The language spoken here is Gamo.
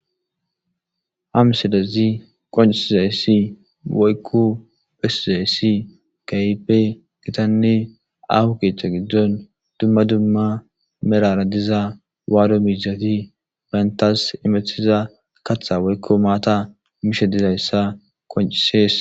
Ha misilezi qoncisizayssi woykku phesizayssi kaype gitanne ahu keechcha giddon dumma dumma merara diza waado miizati bayntas imethiza katha woykko maata misha dizayssa qoncisees.